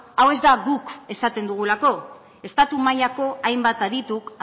hau ez da guk esaten dugulako estatu mailako hainbat adituk